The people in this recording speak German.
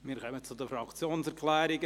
Wir kommen zu den Fraktionserklärungen.